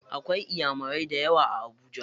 Akwai inyamurai dayawa a Habuja.